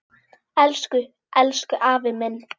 Elsku, elsku afi minn.